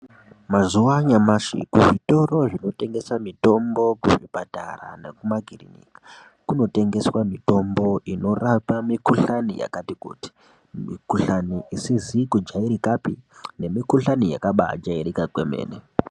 Mazuva anyamashi kuzvitoro zvinotengesa mitombo kuzvipatara nekumakiriniki kunotengeswa mitombo inorapa mikuhlani yakati kuti mikuhlani isizi kujairikapi nemikuhlani yakabaajairika kwemene .